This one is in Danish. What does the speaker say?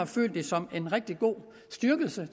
føler det som en rigtig god styrkelse